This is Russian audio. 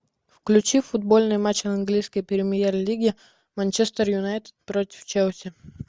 включи футбольный матч английской премьер лиги манчестер юнайтед против челси